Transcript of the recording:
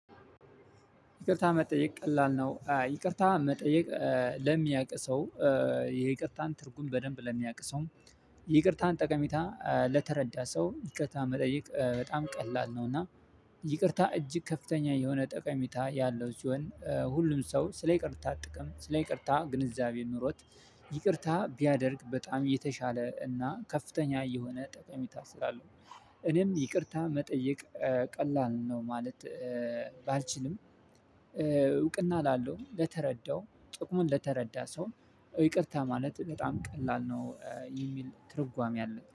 ይቅርታ መጠየቅ ቀላል ነው ይቅርታ መጠየቅ ለሚያውቅ ሰው የይቅርታን ትርጉም በደንብ ለሚያውቅ ሰው ይቅርታን ጠቀሜታ ለተረዳ ሰው ይቅርታ መጠየቅ በጣም ቀላል ነው። እና ይቅርታ እጅግ ከፍተኛ የሆነ ጠቀሚታ ያለው ሲሆን ሁሉም ሰው ስለ ይቅርታ ጥቅም ስለ ይቅርታ ግንዛቤ ኑሮት። ይቅርታ ቢያደርግ በጣም የተሻለ እና ከፍተኛ የሆነ ጠቀሚታ ስላለው። እኔም ይቅርታ መጠየቅ ቀላል ነው ማለት። ባልችልም። እውቅና ላለው ለተረዳው ጥቅሙን ለተረዳ ሰው ይቅርታ ማለት በጣም ቀላል ነው የሚል ትርጓሜ አለ